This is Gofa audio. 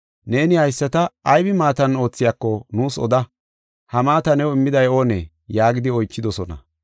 “Neeni haysata aybi maatan oothiyako nuus oda. Ha maata new immiday oonee?” yaagidi oychidosona.